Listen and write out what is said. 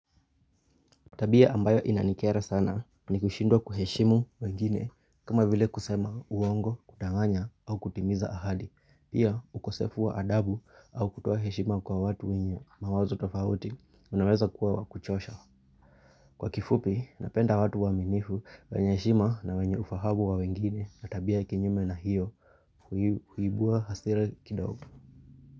Tabia ambayo inanikera sana ni kushindwa kuheshimu wengine kama vile kusema uongo, kudanganya au kutimiza ahadi. Pia ukosefu wa adabu au kutoa heshima kwa watu wenye mawazo tofauti unaweza kuwa wakuchosha Kwa kifupi, napenda watu waaminifu, wenye heshima na wenye ufahamu wa wengine na tabia kinyume na hiyo uhibua hasira kidogo.